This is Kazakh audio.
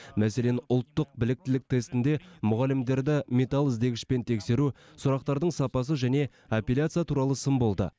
мәселен ұлттық біліктілік тестінде мұғалімдерді металл іздегішпен тексеру сұрақтардың сапасы және апелляция туралы сын болды